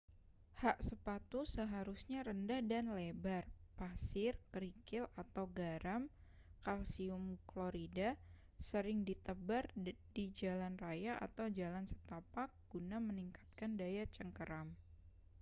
hak sepatu seharusnya rendah dan lebar. pasir kerikil atau garam kalsium klorida sering ditebar di jalan raya atau jalan setapak guna meningkatkan daya cengkeram